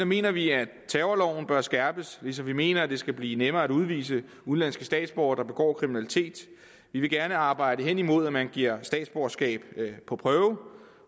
mener vi at terrorloven bør skærpes ligesom vi mener at det skal blive nemmere at udvise udenlandske statsborgere der begår kriminalitet vi vil gerne arbejde hen imod at man giver statsborgerskab på prøve